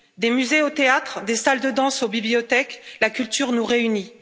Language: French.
Des musées aux théâtres, des salles de danse aux bibliothèques, la culture nous réunit.